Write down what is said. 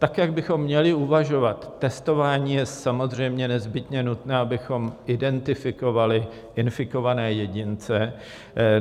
Tak jak bychom měli uvažovat: testování je samozřejmě nezbytně nutné, abychom identifikovali infikované jedince.